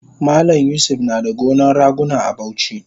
Malam yusuf nada gonan raguna a Bauchi